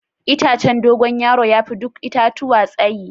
Itacen Dogo yaro ya fi duk itatuwa tsayi.